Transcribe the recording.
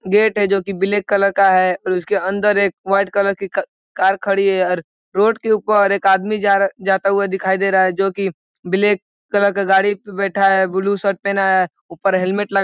gate है जोकि black colour का है और उसके अंदर एक वाइट कलर कि का कार खड़ी है और रोड के ऊपर एक आदमी जा रहा जाता हुआ दिखाई दे रहा है जोकि ब्लैक कलर की गाड़ी पे बैठा है ब्लू शर्ट पहना है ऊपर हेलमेट लगा --